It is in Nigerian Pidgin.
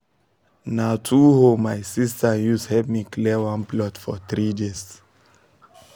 na two hoe my sister use help me clear one plot for 3 days